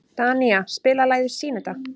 Danía, spilaðu lagið „Syneta“.